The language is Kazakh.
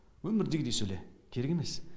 өмірдегідей сөйле керек емес